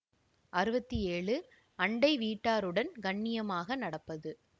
அறுபத்தி ஏழு அண்டை வீட்டாருடன் கண்ணியமாக நடப்பது